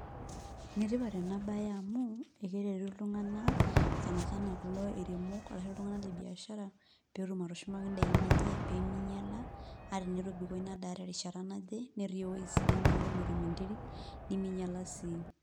Enetipat ena baye amu ekeretu iltung'anak sana sana kulo airemok arashu iltung'anak le biashara pee etum atushumaki indaikin enye pee minyiala ata enetobiko ina daa terishata naje netii ewueji sidai neeku metum enteri neminyiala sii.